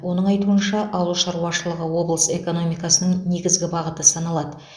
оның айтуынша ауыл шаруашылығы облыс экономикасының негізгі бағыты саналады